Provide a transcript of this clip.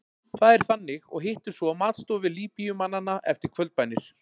Það er þannig og hittumst svo á matstofu Líbíumannanna eftir kvöldbænir.